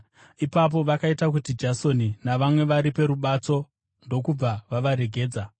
Ipapo vakaita kuti Jasoni navamwe varipe rubatso ndokubva vavaregedza.